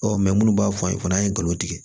Ɔ munnu b'a fɔ a ye fana an ye gawi tigɛ